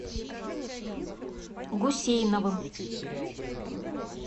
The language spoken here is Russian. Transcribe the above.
гусейновым